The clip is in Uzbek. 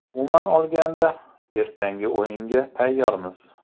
Umuman olganda, ertangi o‘yinga tayyormiz.